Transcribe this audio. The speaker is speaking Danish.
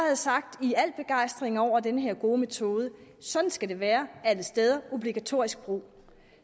have sagt i al begejstring over den her gode metode sådan skal det være alle steder obligatorisk brug